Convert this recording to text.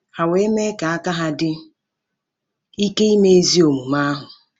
Ha we me ka aka-ha di ike ime ezi omume ahu. ”